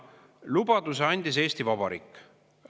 Lubaduse andis Eesti Vabariik.